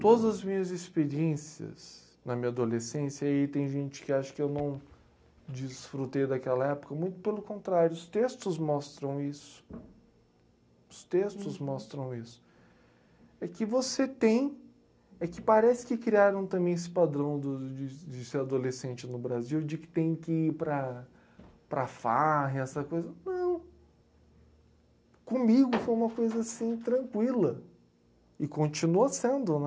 todas as minhas experiências na minha adolescência tem gente que acha que eu não desfrutei daquela época muito pelo contrário, os textos mostram isso os textos mostram isso é que você tem é que parece que criaram também esse padrão dos de de ser adolescente no Brasil de que tem que ir para para farra e essa coisa não comigo foi uma coisa assim tranquila e continua sendo né